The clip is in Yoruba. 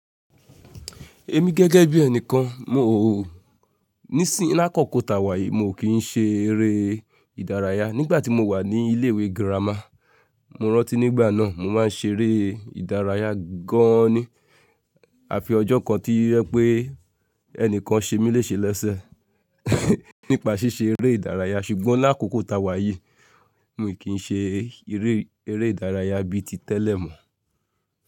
Èmi gẹ́gẹ́ bí ẹni kan, mò ó níìsín l'ákókò tàwà yìí mo kì n ṣe eré ìdárayá. Nígbà tí mo wà ní ilé ìwé girama, mo rántí nígbà náà mo máa ń ṣe eré ìdárayá gan an ni. Àfi ọjọ́ kan tí yé pé ẹnìkan ṣe mí léṣe lẹ́sẹ̀ nípa ṣíṣe eré ìdárayá. Ṣùgbọ́n l'ákókò ta wà yìí, mi kì n ṣe eré, eré ìdárayá bí i ti tẹ́lẹ̀ mọ́.